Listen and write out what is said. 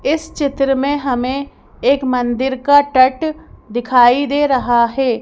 इस चित्र में हमें एक मंदिर का टट दिखाई दे रहा है।